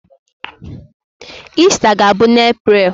Ista ga-abụ n'April.